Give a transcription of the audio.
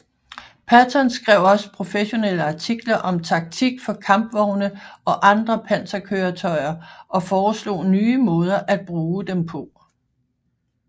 Patton skrev også professionelle artikler om taktik for kampvogne og andre panserkøretøjer og foreslog nye måder at bruge dem på